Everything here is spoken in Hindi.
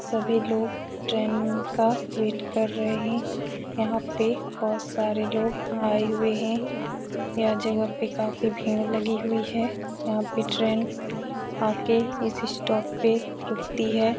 सभी लोग ट्रेन -म् का वेट कर रहे हैं। यहाँ पे बोहोत सारे लोग आये हुए हैं। यह जगज पे काफी भीड़ लगी हुई है। यहाँ पे ट्रेन आके इसी स्टॉप पे रूकती है।